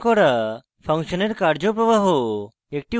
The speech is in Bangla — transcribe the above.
function call করা function এর কার্য প্রবাহ